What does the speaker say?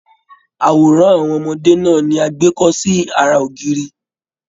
Àwòrán àwọn ọmọdé náà ní a gbé kọ sí àrà ògiri.